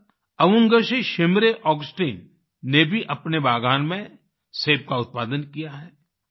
इसी तरह Avungshi Shimray Augustina Avungshi Shimray Augustine ने भी अपने बागान में सेब का उत्पादन किया है